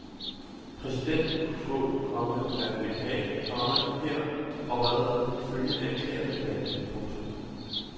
Præsidenten kunne få, komma hvad han ville have, komma her er hvad han ifølge anklagerne valgte. punktum